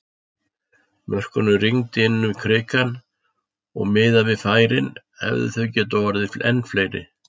Mörkunum rigndi inn í Krikanum og miðað við færin hefðu þau getað orðið enn fleiri!